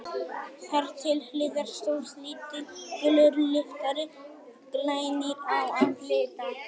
Þar til hliðar stóð lítill, gulur lyftari, glænýr á að líta.